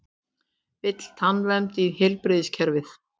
Vill tannvernd í heilbrigðiskerfið